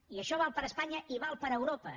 i això val per espanya i val per europa